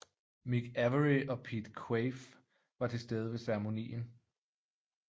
Mick Avory og Pete Quaife var til stede ved ceremonien